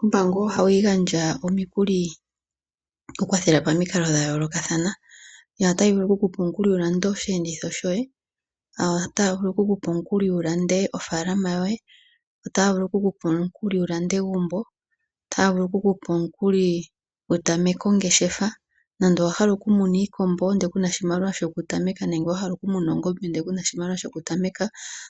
Ombaanga ohayi gandja omikuli okukwathela pamikalo dha yoolokathana. Otayi vulu okukupa omukuli wu lande osheenditho shoye, otaya vulu okukupa omukuli wu lande ofaalama yoye, otaya vulu okukupa omukuli wu lande egumbo, otaya vulu okukupa omukuli wu tameke ongeshefa nande owa hala okumuna iikombo ndele ku na oshimaliwa shokutameka nenge wa hala okumuna oongombe ndele ku na oshimaliwa shokutameka,